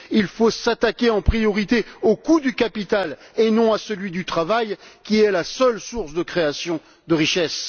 Il faut s'attaquer en priorité au coût du capital et non à celui du travail, qui est la seule source de création de richesses.